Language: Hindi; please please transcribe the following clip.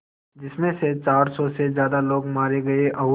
जिस में चार सौ से ज़्यादा लोग मारे गए और